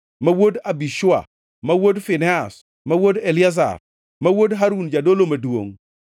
ma wuod Abishua, ma wuod Finehas, ma wuod Eliazar, ma wuod Harun jadolo maduongʼ;